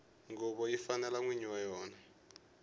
nguvo yi fanela nwini wa yona